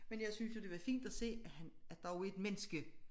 Men jeg synes jo det var fint at se at han er dog et menneske